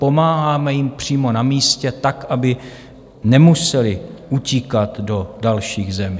Pomáháme jim přímo na místě, tak aby nemuseli utíkat do dalších zemí.